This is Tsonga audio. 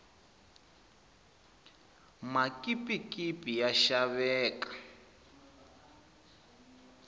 makipikipi ya xaveka